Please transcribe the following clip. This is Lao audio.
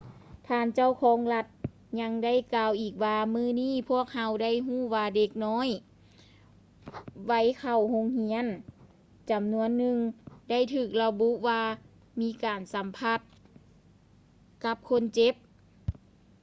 ທ່ານເຈົ້າຄອງລັດ ຍັງໄດ້ກ່າວອີກວ່າ ມື້ນີ້ ພວກເຮົາໄດ້ຮູ້ວ່າເດັກນ້ອຍໄວເຂົ້າໂຮງຮຽນຈຳນວນໜຶ່ງ ໄດ້ຖືກລະບຸວ່າມີການສຳຜັດກັບຄົນເຈັບ